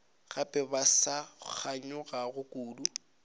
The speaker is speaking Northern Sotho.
gape ba sa kganyogana kudu